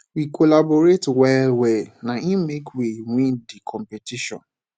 we collaborate wellwell na im make we win di competition